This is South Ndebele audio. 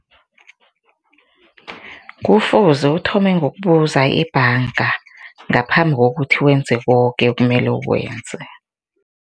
Kufuze uthome ngokubuza ibhanga ngaphambi kokuthi wenze koke okumele ukwenze.